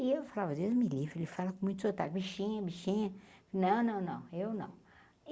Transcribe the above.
E eu falava Deus, me livre, ele fala com muito sotaque, bichinha, bichinha, não, não, não, eu não.